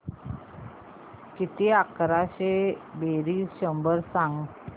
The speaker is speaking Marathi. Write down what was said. किती अकराशे बेरीज शंभर सांग